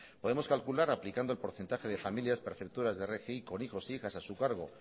podemos calcular aplicando el porcentaje de familias perceptoras de rgi con hijos e hijas a su cargo